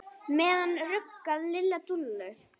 Á meðan ruggaði Lilla Dúllu.